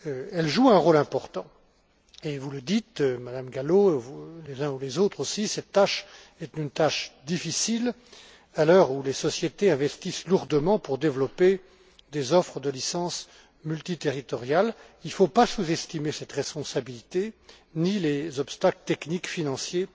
Elles jouent un rôle important et vous le dites, Madame Gallo, et les uns ou les autres aussi cette tâche est une tâche difficile à l'heure où les sociétés investissent lourdement pour développer des offres de licences multiterritoriales. Il ne faut pas sous estimer cette responsabilité, ni les obstacles techniques et financiers,